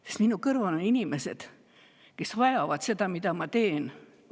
Sest minu kõrval on inimesed, kes vajavad seda, mida ma teen.